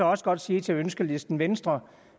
også godt sige til ønskelisten venstre